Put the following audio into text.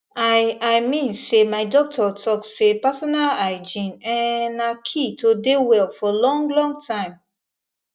i i mean say my doctor talk say personal hygiene ehnnn na key to dey well for long long time